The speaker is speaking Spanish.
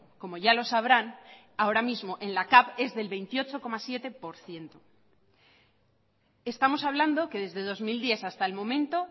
como ya lo sabrán ahora mismo en la cav es del veintiocho coma siete por ciento estamos hablando que desde dos mil diez hasta el momento